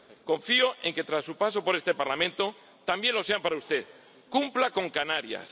Confío en que, tras su paso por este Parlamento, también lo sean para usted. Cumpla con Canarias.